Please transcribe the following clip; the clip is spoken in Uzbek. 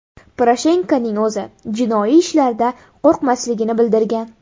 Poroshenkoning o‘zi jinoiy ishlardan qo‘rqmasligini bildirgan.